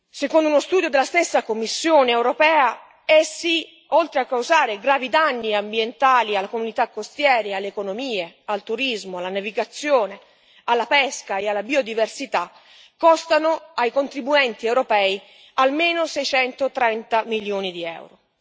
Secondo uno studio della stessa Commissione europea essi, oltre a causare gravi danni ambientali alle comunità costiere, alle economie, al turismo, alla navigazione, alla pesca e alla biodiversità, costano ai contribuenti europei almeno 630 milioni di euro.